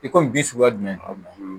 I komi bi suguya jumɛn